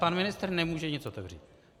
Pan ministr nemůže nic otevřít.